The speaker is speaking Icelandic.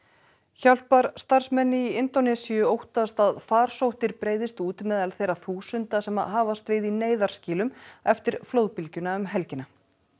hjálparstarfsmenn í Indónesíu óttast að farsóttir breiðist út meðal þeirra þúsunda sem hafast við í neyðarskýlum eftir flóðbylgjuna um helgina